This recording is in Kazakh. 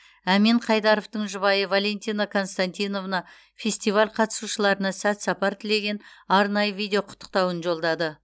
әмен қайдаровтың жұбайы валентина константиновна фестиваль қатысушыларына сәт сапар тілеген арнайы видеоқұттықтауын жолдады